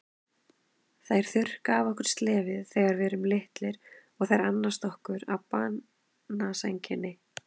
Þær þurrka af okkur slefið þegar við erum litlir og þær annast okkur á banasænginni.